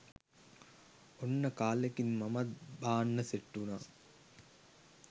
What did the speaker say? ඔන්න කාලෙකින් මමත් බාන්න සෙට් උනා